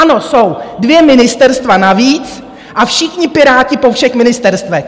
Ano, jsou dvě ministerstva navíc a všichni Piráti po všech ministerstvech.